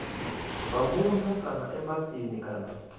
zwa muno kana embasini kana